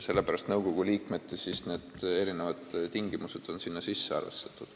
Sellepärast on nõukogu liikmete jaoks erinevad tingimused sinna sisse arvestatud.